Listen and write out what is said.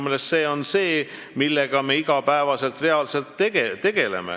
Selle kõigega me tegeleme reaalselt iga päev.